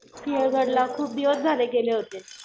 सिंहगडला खूप दिवस झाले गेले होते.